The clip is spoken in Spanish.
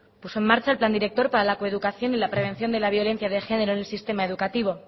puso en marcha el plan director para la coeducación y la prevención de la violencia de género en el sistema educativo